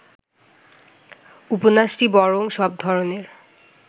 উপন্যাসটি বরং সব ধরনের